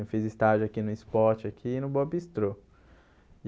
Eu fiz estágio aqui no Esporte, aqui no Bobistro.